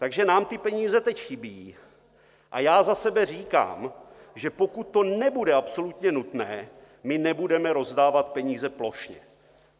Takže nám ty peníze teď chybí a já za sebe říkám, že pokud to nebude absolutně nutné, my nebudeme rozdávat peníze plošně.